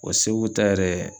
O Segu ta yɛrɛ